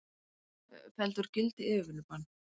Felldu úr gildi yfirvinnubann